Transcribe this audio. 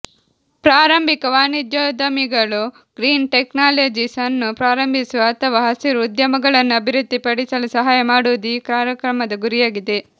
ಪ್ರಾರಂಭಿಕ ವಾಣಿಜ್ಯೋದ್ಯಮಿಗಳು green technologies ಅನ್ನು ಪ್ರಾರಂಭಿಸುವ ಅಥವಾ ಹಸಿರು ಉದ್ಯಮಗಳನ್ನು ಅಭಿವೃದ್ಧಿಪಡಿಸಲು ಸಹಾಯ ಮಾಡುವುದು ಈ ಕಾರ್ಯಕ್ರಮದ ಗುರಿಯಾಗಿದೆ